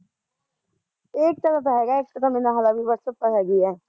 ਏਕਤਾ ਦਾ ਤਾਂ ਹੈਗਾ ਐ, ਏਕਤਾ ਤਾਂ ਮੇਰੇ ਨਾਲ਼ ਹਲੇ ਵੀ ਵਟਸਐਪ ਤੇ ਹੈਗੀ ਐ